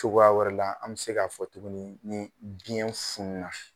Cokoya wɛrɛ la ,an be se ka fɔ tukuni ni biɲɛ funu na.